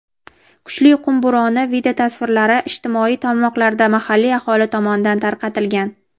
kuchli qum bo‘roni videotasvirlari ijtimoiy tarmoqlarda mahalliy aholi tomonidan tarqatilgan.